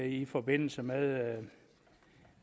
i forbindelse med